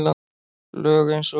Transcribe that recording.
Lög eins og